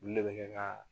Olu de bɛ kɛ ka